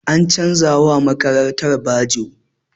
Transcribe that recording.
An canza wa makarantar bajo.